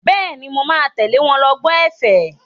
Bẹ́ẹ̀ni, mo máa tẹ̀lé wọn lọ gbọ́ ẹ̀fẹ̀.